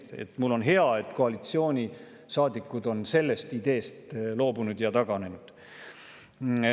Mul on hea, et koalitsioonisaadikud on sellest ideest loobunud ja taganenud.